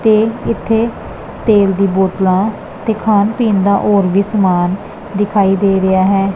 ਤੇ ਇੱਥੇ ਤੇਲ ਦੀ ਬੋਤਲਾਂ ਤੇ ਖਾਣ ਪੀਣ ਦਾ ਔਰ ਵੀ ਸਮਾਨ ਦਿਖਾਈ ਦੇ ਰਿਹਾ ਹੈ।